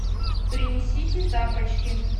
принесите тапочки